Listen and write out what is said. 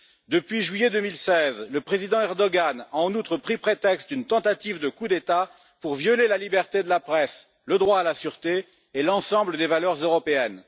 Depuis juillet 2016, le président Erdogan a en outre pris prétexte d'une tentative de coup d'État pour violer la liberté de la presse, le droit à la sûreté et l'ensemble des valeurs européennes.